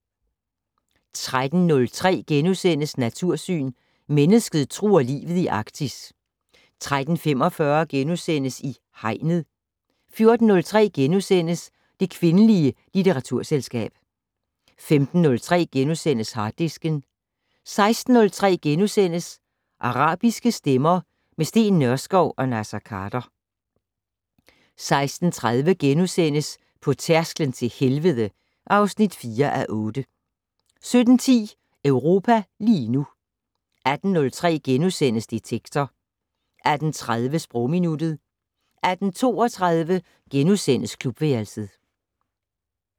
13:03: Natursyn: Mennesket truer livet i Arktis * 13:45: I Hegnet * 14:03: Det kvindelige litteraturselskab * 15:03: Harddisken * 16:03: Arabiske stemmer - med Steen Nørskov og Naser Khader * 16:30: På tærsklen til helvede (4:8)* 17:10: Europa lige nu 18:03: Detektor * 18:30: Sprogminuttet 18:32: Klubværelset *